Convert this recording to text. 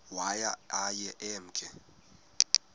waye aye emke